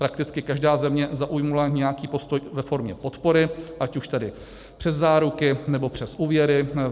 Prakticky každá země zaujala nějaký postoj ve formě podpory, ať už tedy přes záruky, nebo přes úvěry.